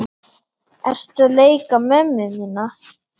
Ertu að leika mömmu mína?